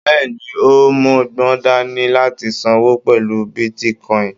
Bẹ́ẹ̀ni, o mọgbọ́n dání láti sanwó pẹlú bitíkọ̀in.